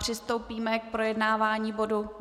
Přistoupíme k projednávání bodu